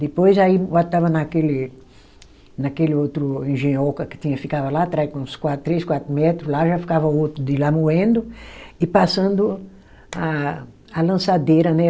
Depois aí botava naquele, naquele outro engenhoca que tinha que ficava lá atrás, com uns quatro, três, quatro metros lá, já ficava outro de lá moendo e passando a a lançadeira, né?